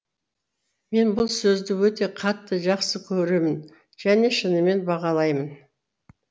мен бұл сөзді өте қатты жақсы көремін және шынымен бағалаймын